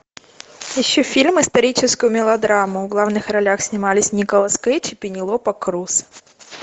ищу фильм историческую мелодраму в главных ролях снимались николас кейдж и пенелопа крус